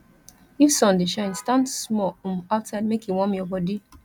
if sun dey shine stand small um outside make e warm your body